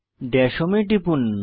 Das home এ টিপুন